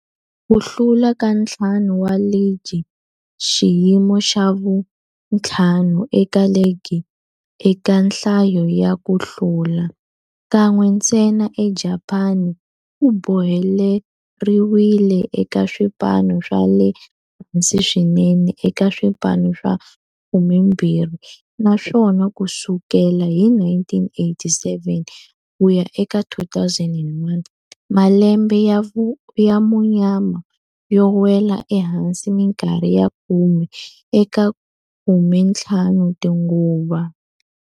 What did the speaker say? Ku hlula ka ntlhanu wa ligi, xiyimo xa vu-5 eka ligi eka nhlayo ya ku hlula, kan'we ntsena eJapani, ku boheleriwile eka swipano swa le hansi swinene eka swipano swa 12, naswona ku sukela hi 1987 ku ya eka 2001, malembe ya munyama yo nwela ehansi minkarhi ya khume eka 15 tinguva.